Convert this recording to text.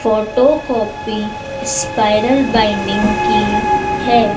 Photo copy spiral binding की है।